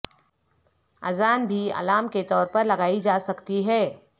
اذان بھی الارم کے طور پر لگائی جاسکتی ہے